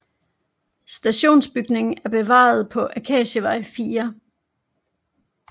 Stationsbygningen er bevaret på Akacievej 4